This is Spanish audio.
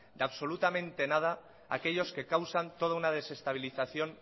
de absolutamente nada aquellos que causan toda una desestabilización